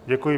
Děkuji.